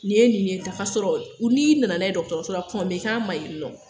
Nin ye nin ye tan k'a sɔrɔ u n'i nana n'a ye dɔgɔtɔrɔso la kɔn me k'a ma yen nɔn